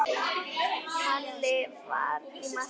Halli var í marki.